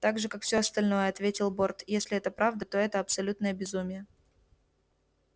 так же как всё остальное ответил борт если это правда то это абсолютное безумие